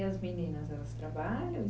E as meninas, elas trabalham?